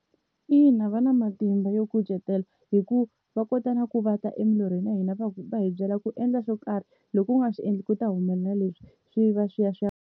Ina va na matimba yo kucetela hi ku va kota na ku va ta emilorhweni ya hina va va hi byela ku endla swo karhi loko u nga swi endli ku ta humelela leswi swi va swi ya swi.